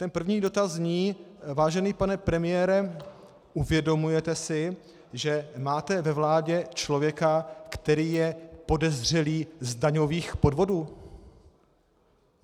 Ten první dotaz zní: Vážený pane premiére, uvědomujete si, že máte ve vládě člověka, který je podezřelý z daňových podvodů?